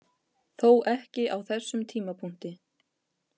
Þó ekki á þessum tímapunkti.